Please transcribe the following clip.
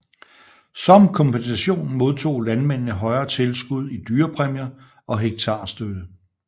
Som kompensation modtog landmændene højere tilskud i dyrepræmier og hektarstøtte